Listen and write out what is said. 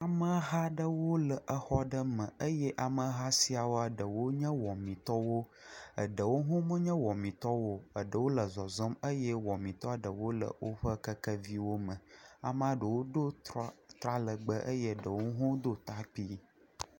Ameha aɖewo le exɔ aɖe me eye ameha siawoa eɖewo nye wɔmitɔwo, eɖewo hã menye wɔmitɔwo o, eɖewo le zɔzɔm eye wɔmitɔ ɖewo le woƒe keke viwo me, amea ɖewo do tra..tra legbee eye ɖewo hã do ta kpui.